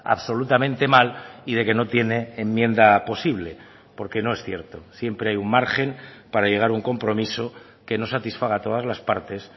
absolutamente mal y de que no tiene enmienda posible porque no es cierto siempre hay un margen para llegar a un compromiso que nos satisfaga a todas las partes